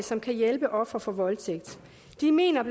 som kan hjælpe ofre for voldtægt de mener